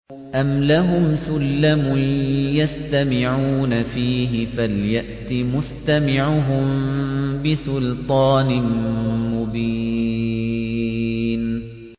أَمْ لَهُمْ سُلَّمٌ يَسْتَمِعُونَ فِيهِ ۖ فَلْيَأْتِ مُسْتَمِعُهُم بِسُلْطَانٍ مُّبِينٍ